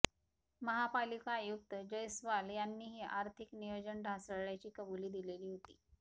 महापालिका आयुक्त जयस्वाल यांनीही आर्थिक नियोजन ढासळल्याची कबुली दिलेली होती